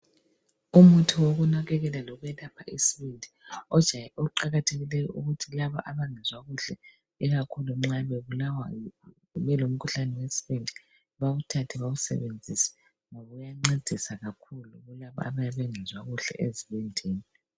Umuthi wokunakakela lokwelapha isibindi oqakathekileyo ukuthi laba abengezwa kuhle ikakhulu nxa belo mkhuhlane wesibindi uyancedisa bawuthathe bawusebenzise ngoba uyancedisa kakhulu kulabo abayabe bengezwa kuhle ezibindini.